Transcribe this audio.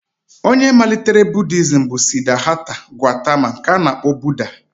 Ọnye malitere Budiizm bụ Sidhata Gaụtama nke a na-akpọ Budha.